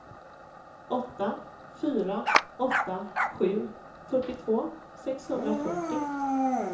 åtta fyra åtta sju fyrtiotvå sexhundrafyrtio